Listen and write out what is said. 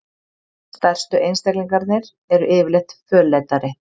Stærstu einstaklingarnir eru yfirleitt fölleitari.